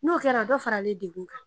N'o kɛra, dɔ faralen degun kan